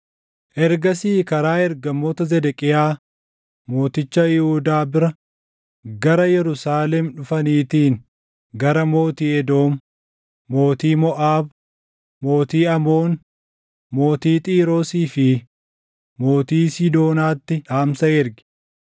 Ergasii karaa ergamoota Zedeqiyaa mooticha Yihuudaa bira gara Yerusaalem dhufaniitiin gara mootii Edoom, mootii Moʼaab, mootii Amoon, mootii Xiiroosii fi mootii Siidoonaatti dhaamsa ergi.